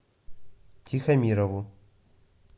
тихомирову